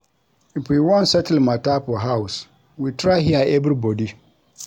If we wan settle mata for house, we try hear everybodi.